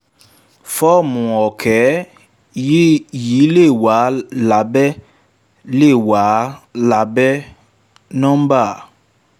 fọ́ọ̀mù òkè yìí lè wà lábẹ́: lè wà lábẹ́: s nọ́ḿbà.